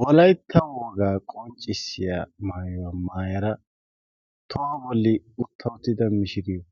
wolaitta woogaa qonccissiya maayuwaa maayara tohuwa bolli utta uttida mishiriyo